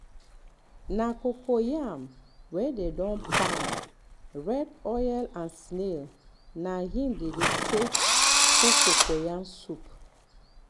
na cocoyam wey dey don pound red oil and snail na im dem dey take dey cook cocoyam soup